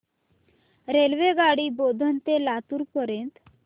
रेल्वेगाडी बोधन ते लातूर पर्यंत